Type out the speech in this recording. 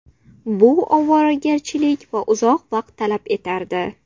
Bu ovoragarchilik va uzoq vaqt talab etardi.